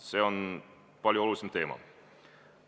See on palju olulisem teema.